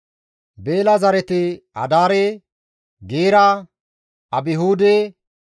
Beela zareti Adaare, Geera, Abihuude,